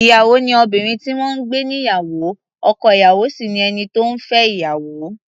Ìyàwó ni obìnrin tí wọ́n ń gbé níyàwó, ọkọ-ìyàwó sì ni ẹni tó ń fẹ́ ìyàwó.